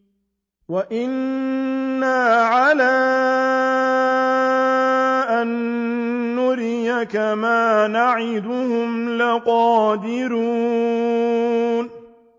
وَإِنَّا عَلَىٰ أَن نُّرِيَكَ مَا نَعِدُهُمْ لَقَادِرُونَ